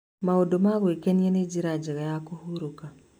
Maũndũ ma gwĩkenia nĩ njĩra njega ya kũhurũka.